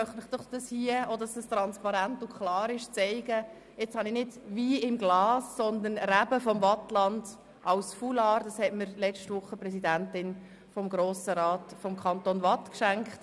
Ich möchte Ihnen aus Transparenzgründen nicht Wein im Glas, sondern Reben aus dem Waadtland in Form eines Foulards zeigen, die ich von der Präsidentin des Grossen Rats des Kantons Waadt erhalten habe.